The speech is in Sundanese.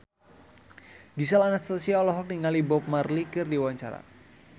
Gisel Anastasia olohok ningali Bob Marley keur diwawancara